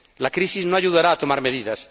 La crisis no ayudará a tomar medidas.